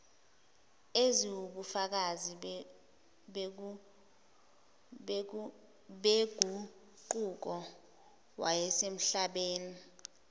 eziwubufakazi beguquko yasemhlabeni